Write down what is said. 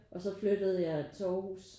Og så flyttede jeg til Aarhus